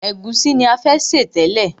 Ègúsí ni a fẹ́ sè tẹ́lẹ̀.